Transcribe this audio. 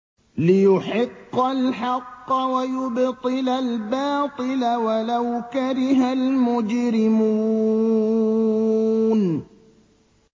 لِيُحِقَّ الْحَقَّ وَيُبْطِلَ الْبَاطِلَ وَلَوْ كَرِهَ الْمُجْرِمُونَ